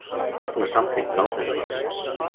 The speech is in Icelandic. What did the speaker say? Fagna samþykkt ráðherraráðsins